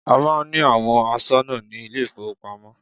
A máà ń ní àwọn aṣọ́nà ní ilé ìfọwọ́pamo.